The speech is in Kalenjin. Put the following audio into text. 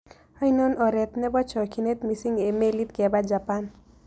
Ainon ooreet ne po chokyinet miising' eng' meliit kepaa japan